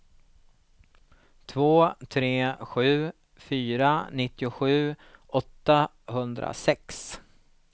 två tre sju fyra nittiosju åttahundrasex